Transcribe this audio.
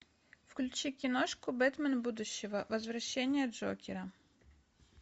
включи киношку бэтмен будущего возвращение джокера